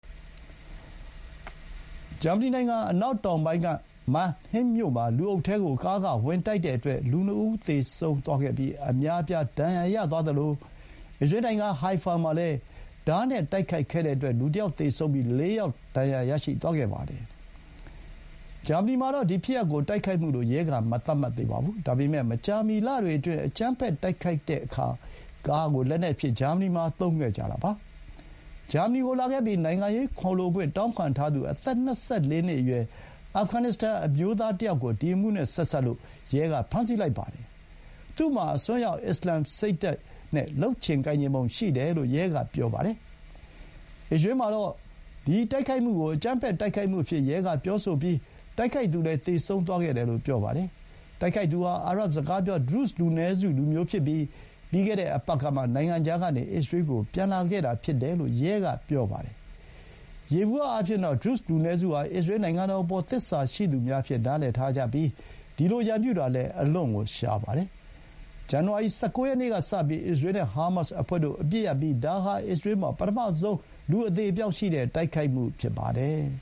ဂျာမနီနိုင်ငံ အနောက်တောင်ပိုင်းက Mannheim မြို့မှာ လူအုပ်ထဲကို ကားက ဝင်တိုက်တဲ့အတွက် လူ ၂ ဦးသေဆုံးပြီး အများအပြား ဒဏ်ရာရသွားသလို အစ္စရေးနိုင်ငံ Haifa မှာလည်း ဓားနဲ့ တိုက်ခိုက်တဲ့အတွက် လူတယောက် သေဆုံးပြီး ၄ ယောက် ဒဏ်ရာရသွားခဲ့ပါတယ်။ ဂျာမနီမှာတော့ ဒီဖြစ်ရပ်ကို တိုက်ခိုက်မှုလို့ ရဲက မသတ်မှတ်သေးပါဘူး။ ဒါပေမဲ့ မကြာမီ လတွေအတွင်း အကြမ်းဖက် တိုက်ခိုက်တဲ့အခါ ကားကို လက်နက်အဖြစ် ဂျာမနီမှာ သုံးလာကြတာပါ။ ဂျာမနီကို လာခဲ့ပြီး နိုင်ငံရေးခိုလှုံခွင့် တောင်းခံထားသူ အသက် ၂၄ နှစ်အရွယ် အာဖဂန် အမျိုးသား တယောက်ကို ဒီအမှုနဲ့ဆက်စပ်လို့ ဖမ်းဆီးလိုက်ပါတယ်။ သူ့မှာ အစွန်းရောက် အစ္စလာမ်စိတ်ဓာတ်နဲ့ လုပ်ချင်ပုံရတယ်လို့ ရဲက ပြောပါတယ်။ အစ္စရေးမှာတော့ ဒီတိုက်ခိုက်မှုကို အကြမ်းဖက် တိုက်ခိုက်မှုအဖြစ် ရဲက ပြောဆိုပြီး တိုက်ခိုက်သူလည်း သေဆုံးသွားခဲ့တယ်လို့ ပြောပါတယ်။ တိုက်ခိုက်သူဟာ အာရပ်စကားပြော ဒရုဇ် လူနည်းစု လူမျိုးဖြစ်ပြီး ပြီးခဲ့တဲ့အပတ်ကမှ နိုင်ငံခြားကနေ အစ္စရေးကို ပြန်လာခဲ့တာဖြစ်တယ်လို့ ရဲက ပြောပါတယ်။ ယေဘုယျအားဖြင့်တော့ ဒရုဇ် လူနည်းစုဟာ အစ္စရေးနိုင်ငံတော်အပေါ် သစ္စာရှိသူများအဖြစ် နားလည်ထားပြီး ဒီလို ရန်ပြုတာလည်း အလွန့်ကို ရှားပါတယ်။ ဇန်နဝါရီ ၁၉ ရက်နေ့ကစပြီး အစ္စရေးနဲ့ ဟားမတ်စ်အဖွဲ့တို့ အပစ်ရပ်ပြီး ဒါဟာ အစ္စရေးမှာ ပထမဆုံး လူအသေအပျောက်ရှိတဲ့ တိုက်ခိုက်မှုဖြစ်ပါတယ်